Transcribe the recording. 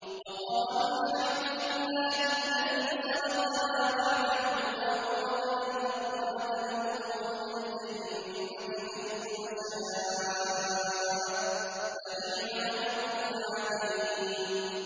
وَقَالُوا الْحَمْدُ لِلَّهِ الَّذِي صَدَقَنَا وَعْدَهُ وَأَوْرَثَنَا الْأَرْضَ نَتَبَوَّأُ مِنَ الْجَنَّةِ حَيْثُ نَشَاءُ ۖ فَنِعْمَ أَجْرُ الْعَامِلِينَ